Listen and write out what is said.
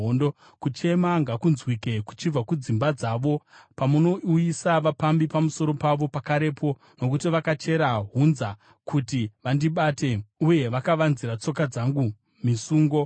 Kuchema ngakunzwike kuchibva kudzimba dzavo, pamunouyisa vapambi pamusoro pavo pakarepo, nokuti vakachera hunza kuti vandibate, uye vakavanzira tsoka dzangu misungo.